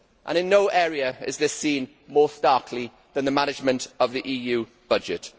In no area is this seen more starkly than the management of the EU budget.